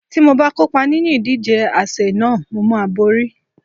Tí mo bá kópa nínú ìdíje àsè náà, mo máa borí.